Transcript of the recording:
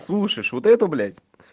слушаешь вот эту блять